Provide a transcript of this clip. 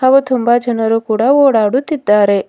ಹಾಗೂ ತುಂಬಾ ಜನರು ಕೂಡ ಓಡಾಡುತ್ತಿದ್ದಾರೆ.